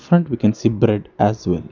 Front we can see bread as well.